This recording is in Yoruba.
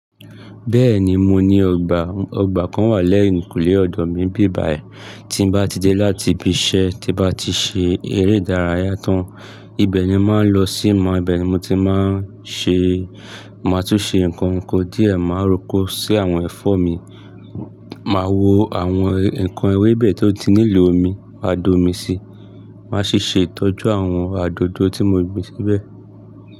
Bẹ́ẹ̀ni mo ní ọgbà, ọgbà kan wà lẹ́yìn kùnlé ọ̀dọ̀ mi bíbàyẹ́. Tí n bá ti dé láti ibi iṣẹ́ tí bá ti ṣe eré ìdárayá tán, ibẹ̀ ni màá ń lọ sí ma, ibẹ̀ ni mo ti máa ń ṣe, màá tún ṣe nǹkan oko díẹ̀, màá rò kó sí àwọn ẹ̀fọ́ mi, màá wo àwọn ǹkan ewébẹ̀ tó ti nílò omi, máa dó omi síi, màá sì ṣe ìtọ́jú àwọn àdòdó tí mo gbìn síbẹ̀.